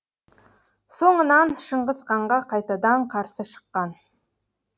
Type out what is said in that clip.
соңынан шыңғыс ханға қайтадан қарсы шыққан